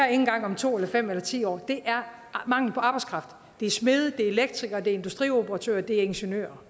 engang om to fem eller ti år mangel på arbejdskraft det er smede elektrikere industrioperatører og ingeniører